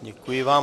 Děkuji vám.